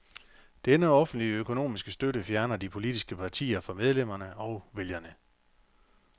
Denne offentlige økonomiske støtte fjerner de politiske partier fra medlemmerne og vælgerne.